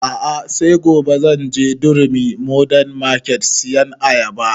A'a sai gobe zan je durumi modern market sayan ayaba